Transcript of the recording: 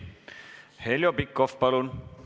Heljo Pikhof, palun!